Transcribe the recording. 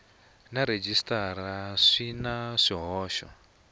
na rhejisitara swi na swihoxo